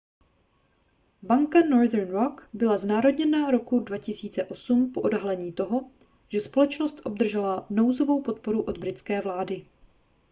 banka northern rock byla znárodněna roku 2008 po odhalení toho že společnost obdržela nouzovou podporu od britské vlády